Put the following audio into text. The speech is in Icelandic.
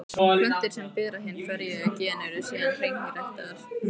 Plöntur sem bera hin ferjuðu gen eru síðan hreinræktaðar.